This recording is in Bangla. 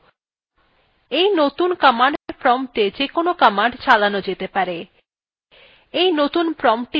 এই নতুন command prompta যেকোনো command চালানো যেতে পারে এই নতুন promptটিতে ls command চালান যাক